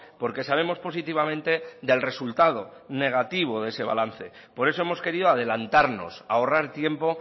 porque sabemos positivamente del resultado negativo de ese balance por eso hemos querido adelantarnos ahorrar tiempo